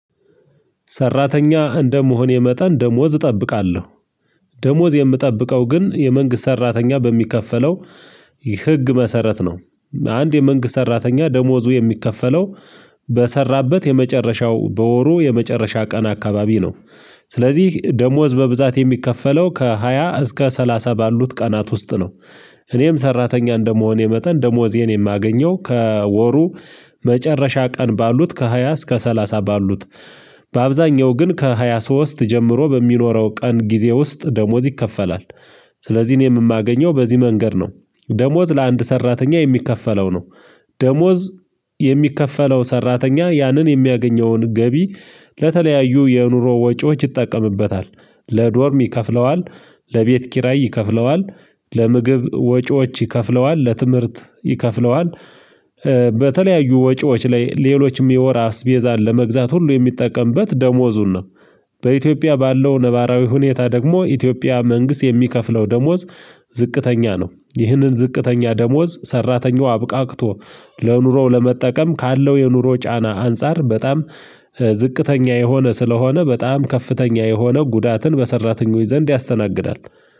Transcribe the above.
ሰራተኛ እንደመሆን የመጠን ደሞዝ እጠብቃለሁ። ደሞዝ የምጠብቀው ግን የመንግስት ሰራተኛ በሚከፈለው ህግ መሰረት ነው። አንድ የመንግስት ሰራተኛ ደሞዙ የሚከፈለው በሰራበት የመጨረሻው በወሩ የመጨረሻ ቀን አካባቢ ነው። ስለዚህ ደሞዝ በብዛት የሚከፈለው ከሃያ እስከ ሰላሳ ባሉት ቀናት ውስጥ ነው። እኔም ሰራተኛ እንደመሆን መጠን ደሞዜን የማገኘው ከወሩ መጨረሻ ቀን ባሉት ከሃያ እስከ ሰላሳ ባሉት በአብዛኛው ግን ከሃያ ሶስት ጀምሮ በሚኖረው ቀን ጊዜ ውስጥ ደሞዝ ይከፈላል ስለዚህ እኔም የማገኘው በዚህ መንገድ ነው። ደሞዝ ለአንድ ሰራተኛ የሚከፈለው ነው። ደሞዝ የሚከፈለው ሰራተኛ ያንን የሚያገኘውን ገቢ ለተለያዩ የኑሮ ወጪዎች ይጠቀምበታል። ለዶርም ይከፍለዋል፣ ለቤት ኪራይ ይከፍለዋል፣ ለምግብ ወጪዎች ይከፍለዋል፣ ለትምህርት ይከፍለዋል በተለያዩ ወጪዎች ላይ ሌሎችም የወር አስቤዛን ለመግዛት ሁሉ የሚጠቀምበት ደሞዙን ነው። በኢትዮጵያ ባለው ነባራዊ ሁኔታ ደግሞ የኢትዮጵያ መንግስት የሚከፍለው ደሞዝ ዝቅተኛ ነው። ይህንን ዝቅተኛ ደሞዝ ሰራተኛው አብቃቅቶ ለኑሮው ለመጠቀም ካለው የኑሮ ጫና አንፃር በጣም ዝቅተኛ የሆነ ስለሆነ በጣም ከፍተኛ የሆነ ጉዳትን በሰራተኞች ዘንድ ያስተናግዳል።